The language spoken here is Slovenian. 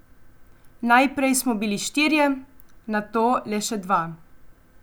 Najprej smo bili štirje, nato le še dva.